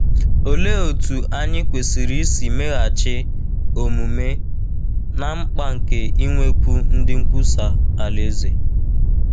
Olee otú anyị kwesịrị isi meghachi omume ná mkpa nke inwekwu ndị nkwusa Alaeze?